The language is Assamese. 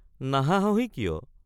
নাহাঁহহি কিয়?